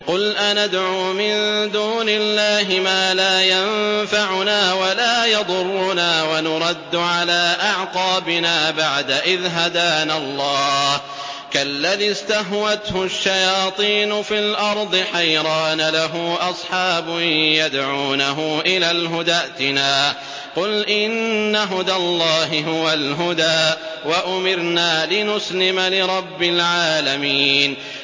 قُلْ أَنَدْعُو مِن دُونِ اللَّهِ مَا لَا يَنفَعُنَا وَلَا يَضُرُّنَا وَنُرَدُّ عَلَىٰ أَعْقَابِنَا بَعْدَ إِذْ هَدَانَا اللَّهُ كَالَّذِي اسْتَهْوَتْهُ الشَّيَاطِينُ فِي الْأَرْضِ حَيْرَانَ لَهُ أَصْحَابٌ يَدْعُونَهُ إِلَى الْهُدَى ائْتِنَا ۗ قُلْ إِنَّ هُدَى اللَّهِ هُوَ الْهُدَىٰ ۖ وَأُمِرْنَا لِنُسْلِمَ لِرَبِّ الْعَالَمِينَ